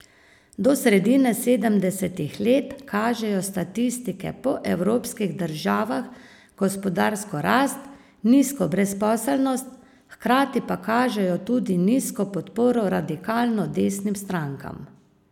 Do sredine sedemdesetih let kažejo statistike po evropskih državah gospodarsko rast, nizko brezposelnost, hkrati pa kažejo tudi nizko podporo radikalno desnim strankam.